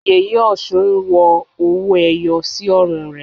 Yèyé Ọ̀ṣun ń wọ owó ẹyọ sí ọrùn rẹ̀.